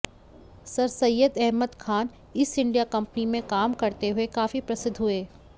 sir Syed Ahmad Khan east India company में काम करते हुए काफ़ी प्रसिद्ध हुए